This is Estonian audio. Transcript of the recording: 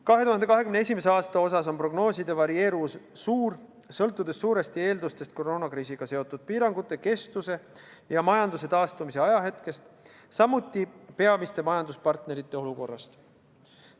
2021. aasta osas on prognooside varieeruvus suur, sõltudes suuresti koroonakriisiga seotud piirangute kestvusest ja majanduse taastumise ajahetkest, samuti peamiste majanduspartnerite olukorrast.